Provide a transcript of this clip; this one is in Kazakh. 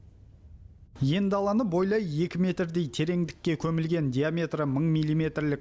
ен даланы бойлай екі метрдей тереңдікке көмілген диаметрі мың милиметрлік